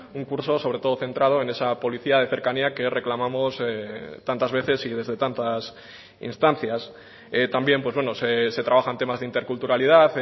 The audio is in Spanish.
un curso sobre todo centrado en esa policía de cercanía que reclamamos tantas veces y desde tantas instancias también se trabajan temas de interculturalidad